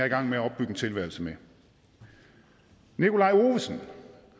i gang med at opbygge en tilværelse med nikolaj ovesen